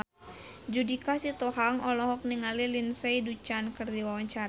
Judika Sitohang olohok ningali Lindsay Ducan keur diwawancara